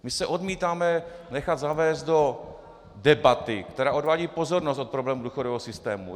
My se odmítáme nechat zavést do debaty, která odvádí pozornost od problémů důchodového systému.